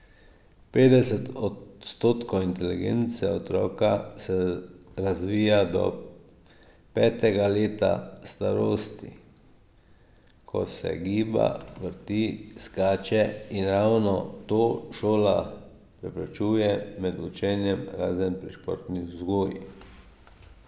Petdeset odstotkov inteligence otroka se razvija do petega leta starosti, ko se giba, vrti, skače, in ravno to šola preprečuje med učenjem, razen pri športni vzgoji.